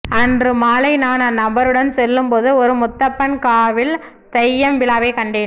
அன்று மாலை நான் அந்நண்பருடன் செல்லும்போது ஒரு முத்தப்பன் காவில் தெய்யம் விழாவை கண்டேன்